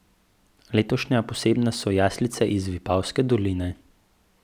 Letošnja posebnost so jaslice iz Vipavske doline.